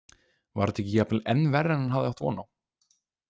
Var þetta ekki jafnvel enn verra en hann hafði átt von á?